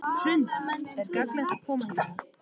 Hrund: Er gagnlegt að koma hingað?